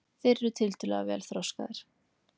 þeir eru tiltölulega vel þroskaðir